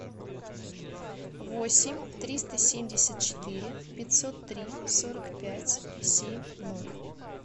восемь триста семьдесят четыре пятьсот три сорок пять семь ноль